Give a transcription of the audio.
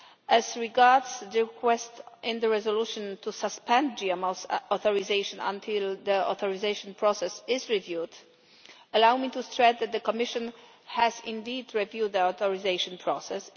As regards the request in the resolution to suspend GMO authorisation until the authorisation process is reviewed, allow me to stress that the Commission has indeed reviewed the authorisation process.